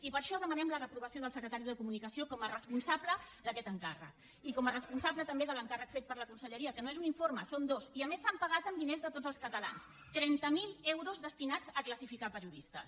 i per això demanem la reprovació del secretari de comunicació com a responsable d’aquest encàrrec i com a responsable també de l’encàrrec fet per la conselleria que no és un informe en són dos i a més s’han pagat amb diners de tots els catalans trenta mil euros destinats a classificar periodistes